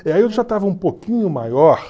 E aí eu já estava um pouquinho maior